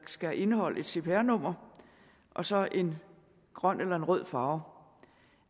skal indeholde et cpr nummer og så en grøn eller en rød farve